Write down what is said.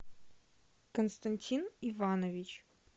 константин иванович